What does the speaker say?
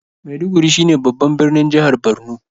Maiduguri shine babban birnin jihar Borno.